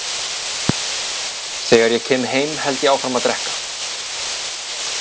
Þegar ég kem heim held ég áfram að drekka.